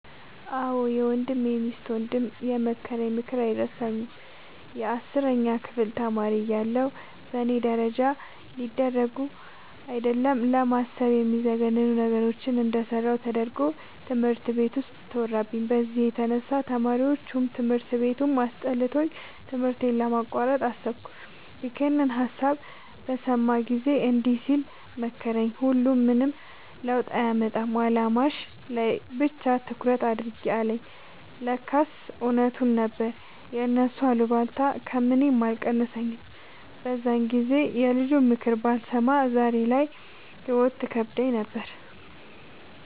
አዎ የወንድሜ ሚስት ወንድም የመከረኝ ምክር አይረሳኝም። የአስረኛ ክፍል ተማሪ እያለሁ በእኔ ደረጃ ሊደረጉ አይደለም ለማሰብ የሚዘገንኑ ነገሮችን እንደሰራሁ ተደርጎ ትምህርት ቤት ውስጥ ተወራብኝ። በዚህ የተነሳ ተማሪዎቹም ትምህርት ቤቱም አስጠልቶኝ ትምህርቴን ለማቋረጥ አሰብኩ። ይኸንን ሀሳብ በሰማ ጊዜ እንዲህ ሲል መከረኝ "ሁሉም ምንም ለውጥ አያመጣም አላማሽ ላይ ብቻ ትኩረት አድርጊ" አለኝ። ለካስ እውነቱን ነበር የእነሱ አሉባልታ ከምኔም አልቀነሰኝም። በዛን ጊዜ የልጁንምክር ባልሰማ ዛሬ ላይ ህይወት ትከብደኝ ነበር።